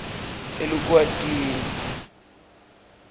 elukwatini